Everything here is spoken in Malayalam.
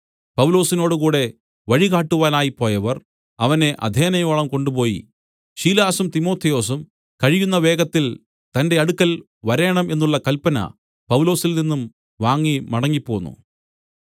പൗലൊസിനോടുകൂടെ വഴികാട്ടുവാനായി പോയവർ അവനെ അഥേനയോളം കൊണ്ടുപോയി ശീലാസും തിമൊഥെയോസും കഴിയുന്ന വേഗത്തിൽ തന്റെ അടുക്കൽ വരേണം എന്നുള്ള കല്പന പൗലൊസിൽനിന്നും വാങ്ങി മടങ്ങിപ്പോന്നു